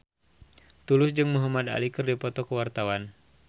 Tulus jeung Muhamad Ali keur dipoto ku wartawan